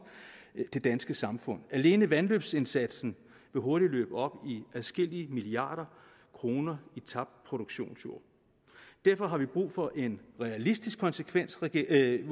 det danske samfund alene vandløbsindsatsen vil hurtigt løbe op i adskillige milliarder kroner i tabt produktionsjord derfor har vi brug for en realistisk konsekvensvurdering